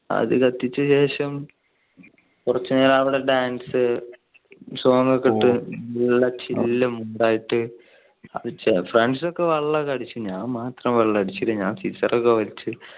അത് കത്തിച്ച ശേഷം കുറച്ചു നേരം അവിടെ dance നല്ല song ഒക്കെ ഇട്ട് chill ആയിട്ട് friends ഒക്കെ വെള്ളം ഒക്കെ അടിച്ച് ഞാൻ മാത്രം വെള്ളം അടിച്ചില്ല. ഞാൻ സീസർ ഒക്കെ വലിച്ച്.